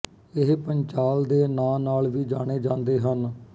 ਇਹ ਪੰਚਾਲ ਦੇ ਨਾਂ ਨਾਲ ਵੀ ਜਾਣੇ ਜਾਂਦੇ ਹਨ